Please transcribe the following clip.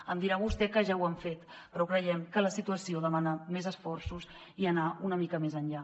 em dirà vostè que ja ho han fet però creiem que la situació demana més esforços i anar una mica més enllà